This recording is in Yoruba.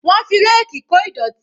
Wọ́n fi ráàkì kó ìdọ̀tí.